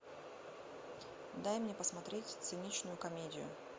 дай мне посмотреть циничную комедию